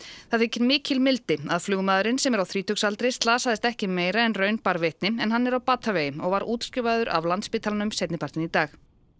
það þykir mikil mildi að flugmaðurinn sem er á þrítugsaldri slasaðist ekki meira en raun bar vitni en hann er á batavegi og var útskrifaður af Landspítalanum seinni partinn í dag